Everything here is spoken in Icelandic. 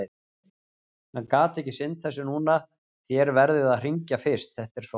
Hann getur ekki sinnt þessu núna, þér verðið að hringja fyrst, þetta er svo gamalt.